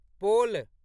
pole